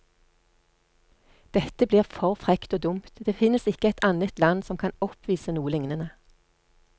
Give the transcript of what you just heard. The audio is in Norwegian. Dette blir for frekt og dumt, det finnes ikke et annet land som kan oppvise noe lignende.